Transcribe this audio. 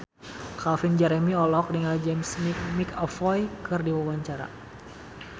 Calvin Jeremy olohok ningali James McAvoy keur diwawancara